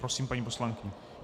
Prosím, paní poslankyně.